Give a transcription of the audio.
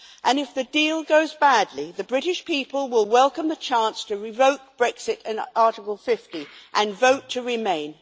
And if the deal goes badly, the British people will welcome the chance to revoke Brexit and Article 50, and vote to remain.